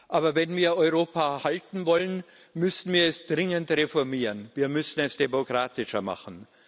Aber wenn wir Europa erhalten wollen, müssen wir es dringend reformieren, wir müssen es demokratischer machen.